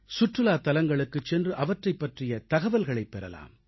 சுற்றுலாத்தலங்களுக்குச் சென்று அவற்றைப் பற்றிய தகவல்களைப் பெறலாம்